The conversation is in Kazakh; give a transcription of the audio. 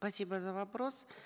спасибо за вопрос